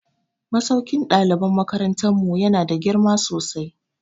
Masaukin ɗaliban makarantar mu ya na da girma sosai